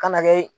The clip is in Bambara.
Ka na kɛ